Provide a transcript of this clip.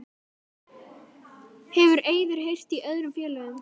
Hefur Eiður heyrt í öðrum félögum?